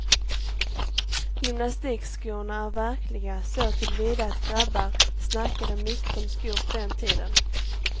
Gymnastikskorna är verkliga såtillvida att grabbar snackade mycket om skor på den tiden.